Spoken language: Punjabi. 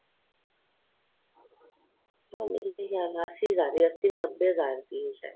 ਹਾਂ ਮਿਲ ਤੇ ਜਾਣ ਅੱਸੀ ਹਜ਼ਾਰ ਅੱਸੀ ਨੱਬੇ ਹਜ਼ਾਰ ਦੀ ਏ ਸਾਹਿਦ